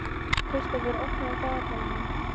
Kristófer, opnaðu dagatalið mitt.